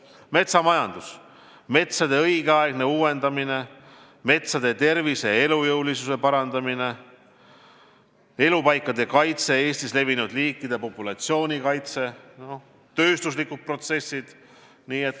Metsamajandus, metsade õigeaegne uuendamine, metsade tervise ja elujõu parandamine, elupaikade kaitse, Eestis levinud liikide populatsioonide kaitse, tööstuslikud protsessid.